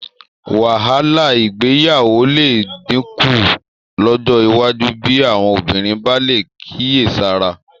Wàhálà ìgbéyàwó lè dínkù lọ́jọ́ iwájú bí àwọn obìnrin bá lè kíyèsára